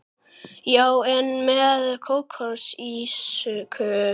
Já, en með kómísku ívafi.